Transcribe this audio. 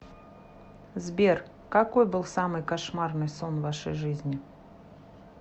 сбер какой был самый кошмарный сон в вашей жизни